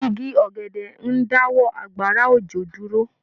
Igi ọ̀gẹ̀dẹ̀ ń dáwọ́ àgbàrá òjò dúró.